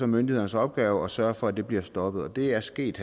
myndighedernes opgave at sørge for at de bliver stoppet og det er sket